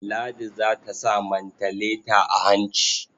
Ladi za ta sa mantaleta a hanci.